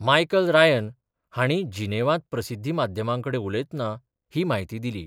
Michael Ryan हाणी जिनेवांत प्रसिद्धी माध्यमांकडेन उलयतना ही म्हायती दिली.